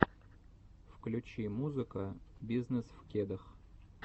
включи музыка бизнесвкедах